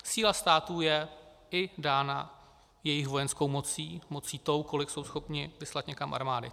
Síla států je i dána jejich vojenskou mocí, mocí tou, kolik jsou schopni vyslat někam armády.